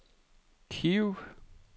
Kiev